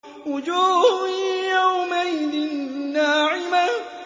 وُجُوهٌ يَوْمَئِذٍ نَّاعِمَةٌ